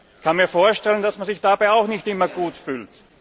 Ich kann mir vorstellen, dass man sich dabei auch nicht immer gut fühlt.